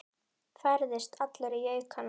Færðist allur í aukana.